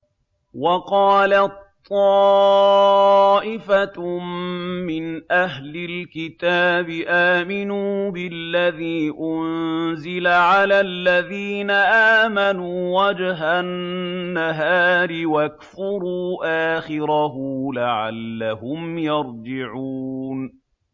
وَقَالَت طَّائِفَةٌ مِّنْ أَهْلِ الْكِتَابِ آمِنُوا بِالَّذِي أُنزِلَ عَلَى الَّذِينَ آمَنُوا وَجْهَ النَّهَارِ وَاكْفُرُوا آخِرَهُ لَعَلَّهُمْ يَرْجِعُونَ